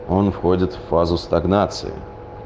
он входит в фазу стагнации